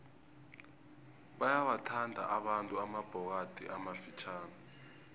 bayawathanda abantu amabhokadi amafitjhani